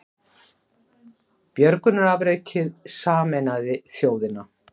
Björgunarafrekið sameinaði þjóðina